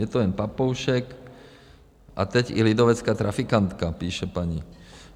Je to jen papoušek a teď i lidovecká trafikantka, píše paní.